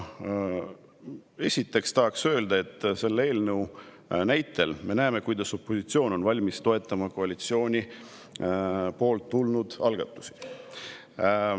Esiteks tahan öelda, et selle eelnõu näitel me näeme, et opositsioon on valmis toetama koalitsioonist tulnud algatusi.